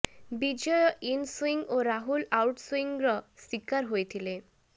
Bijay in swing ଓ Rahul out ସୁଇଙ୍ଗ୍ର ଶିକାର ହୋଇଥିଲେ